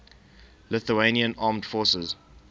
lithuanian armed forces